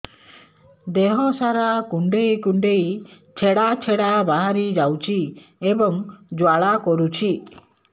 ଦେହ ସାରା କୁଣ୍ଡେଇ କୁଣ୍ଡେଇ ଛେଡ଼ା ଛେଡ଼ା ବାହାରି ଯାଉଛି ଏବଂ ଜ୍ୱାଳା କରୁଛି